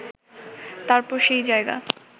তারপর সেই জায়গা